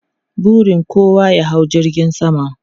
Burin kowa ya hau jirgin sama.